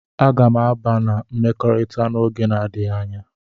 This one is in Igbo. Aga m aba na mmekọrịta n'oge na-adịghị anya.